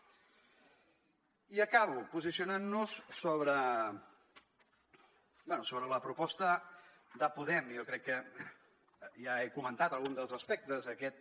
i acabo posicionant nos sobre la proposta de podem i jo crec que ja he comentat algun dels aspectes d’aquest